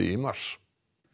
í mars